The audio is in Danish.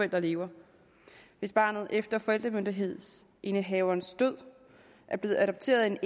der lever hvis barnet efter forældremyndighedsindehaverens død er blevet adopteret af en